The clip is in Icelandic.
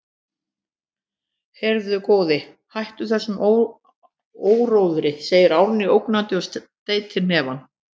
Heyrðu, góði, hættu þessum áróðri, segir Árný ógnandi og steytir hnefann.